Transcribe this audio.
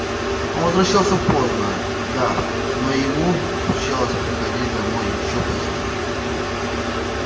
он возвращался поздно да но ему случалось приходить домой ещё позднее